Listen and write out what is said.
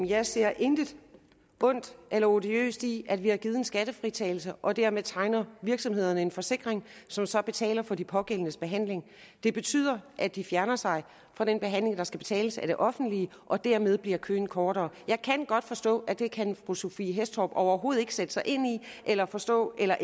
jeg ser intet ondt eller odiøst i at vi har givet en skattefritagelse og dermed tegner virksomhederne en forsikring som så betaler for de pågældendes behandling det betyder at de fjerner sig fra den behandling der skal betales af det offentlige og dermed bliver køen kortere jeg kan godt forstå at det kan fru sophie hæstorp andersen overhovedet ikke sætte sig ind i eller forstå eller